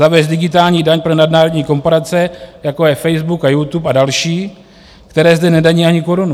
Zavést digitální daň pro nadnárodní korporace, jako je Facebook a YouTube a další, které zde nedaní ani korunu.